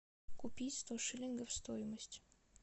купить сто шиллингов стоимость